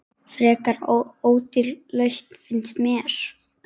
Frekar ódýr lausn, finnst mér.